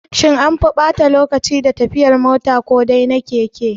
Shin anfi ɓata lokaci da tafiyan mota ko dai na keke?